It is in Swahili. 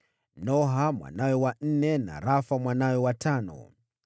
Noha mwanawe wa nne na Rafa mwanawe wa tano.